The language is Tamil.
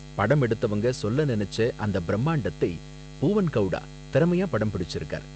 படம் எடுத்தவங்க சொல்ல நினைச்ச அந்த பிரமாண்டத்தை பூவன் கவுடா திறமையா படம் பிடிச்சிருக்கார்.